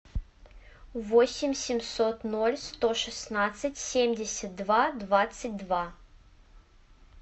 восемь семьсот ноль сто шестнадцать семьдесят два двадцать два